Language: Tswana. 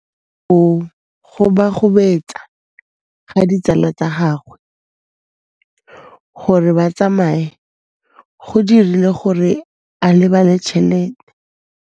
Go gobagobetsa ga ditsala tsa gagwe, gore ba tsamaye go dirile gore a lebale tšhelete.